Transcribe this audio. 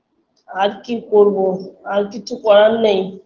আর কি করবো আর কিছু করার নেই